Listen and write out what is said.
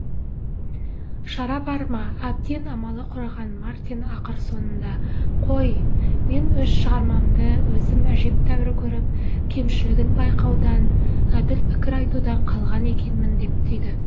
шара бар ма әбден амалы құрыған мартин ақыр соңында қой мен өз шығармамды өзім әжептәуір көріп кемшілігін байқаудан әділ пікір айтудан қалған екенмін деп түйді